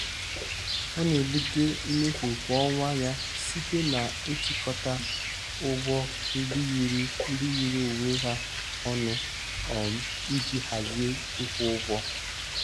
Ọ na-ebute mmefu kwa ọnwa ya site na-ịchịkọta ụgwọ ndị yiri ndị yiri onwe ha ọnụ um iji hazie ịkwụ ụgwọ.